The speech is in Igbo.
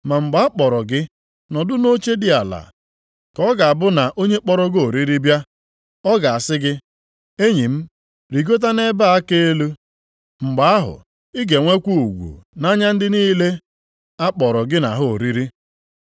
Ma mgbe a kpọrọ gị, nọdụ nʼoche dị ala, ka ọ ga-abụ na onye kpọrọ gị oriri bịa, ọ ga-asị gị ‘Enyi m, rigota nʼebe a ka elu.’ Mgbe ahụ, ị ga-enwekwa ugwu nʼanya ndị niile a kpọrọ gị na ha oriri.